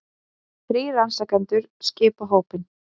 Þrír rannsakendur skipa hópinn